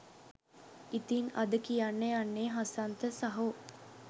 ඉතින් අද කියන්න යන්නේ හසන්ත සහෝ